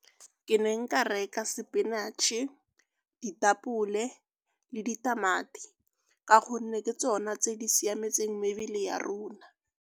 Ke ne nka reka sepinatšhe, ditapole le ditamati ka gonne ke tsona tse di siametseng mebele ya rona.